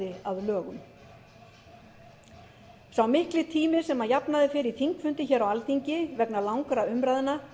að lögum sá mikli tími sem að jafnaði fer í þingfundi hér á alþingi vegna langra umræðna